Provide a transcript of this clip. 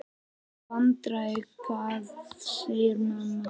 Hvaða vandræði, hvað segir mamma?